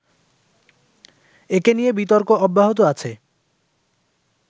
একে নিয়ে বিতর্ক অব্যাহত আছে